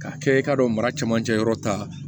K'a kɛ i k'a dɔn mara camancɛ yɔrɔ ta